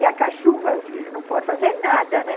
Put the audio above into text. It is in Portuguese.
E a cachumba, filha, não pode fazer nada, né?